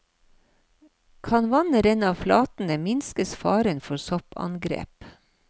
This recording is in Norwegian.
Kan vannet renne av flatene, minskes faren for soppangrep.